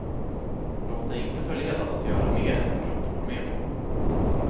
Låt dig inte förledas att göra mer än din kropp går med på.